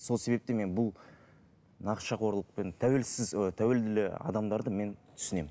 сол себептен мен бұл нашақорлықпен тәуелсіз ыыы тәуелді адамдарды мен түсінемін